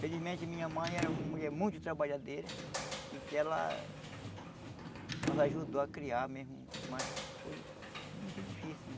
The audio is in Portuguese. Felizmente minha mãe era uma mulher muito trabalhadeira e que ela nos ajudou a criar mesmo, mas foi muito difícil, né?